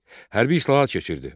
Hərbi islahat keçirdi.